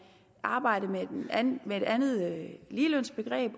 arbejde med med et andet ligelønsbegreb